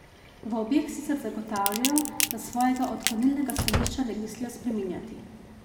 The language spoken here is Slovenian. V obeh sicer zagotavljajo, da svojega odklonilnega stališča ne mislijo spreminjati.